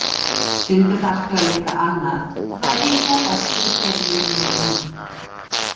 Stundum þarftu að leita annað og það er líklega best fyrir ferilinn minn núna.